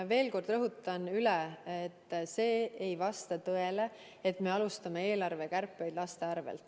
Ma veel kord rõhutan üle, et see ei vasta tõele, et me alustame eelarvekärpeid laste arvelt.